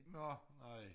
Nå ej